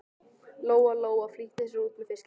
Lóa Lóa flýtti sér út með fiskinn.